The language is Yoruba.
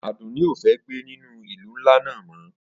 Adunni o fe gbe ninu ilu nla naa mo